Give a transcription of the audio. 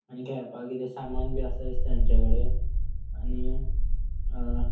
आणि खेळपाक किदे सामान बी आसात दिसता तेंचेकडे आणि अ --